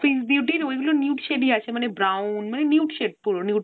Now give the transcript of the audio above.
আচ্ছা আচ্ছা। ওগুলো nude shade ই আছে। মানে brown nude shade পুরো nude